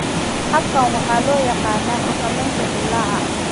Habkan waxaa loo yaqaannaa xakamaynta dillaaca.